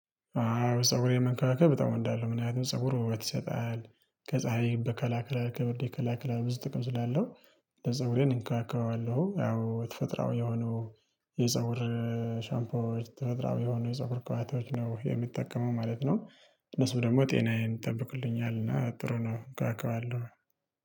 አዎ ፀጉሬ መንካክብ በጣም እወዳለው ምን አይነት ፀጉር ውበት ይሰጣል። ከፀሀይ በ ይከላከላል ከብርድ ይከላከላል። ብዙ ጥቅም ስላለው ለፀጉሬ እንከባከባለሁ ያው ተፈጥራዊ የሆነው የፀጉር ሻምፖዎች ተፈጥሮዊ የሆኑ የፀጉር ክባቶች ነው የምጠቀው ማለት ነው። እነሱ ደግሞ ጤናዬን ይጠብቁልኛል እና ጥሩ ነው እንከባከባለሁ።